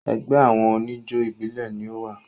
Ẹgbẹ́ àwọn oníjó ìbílẹ̀ ni o wà.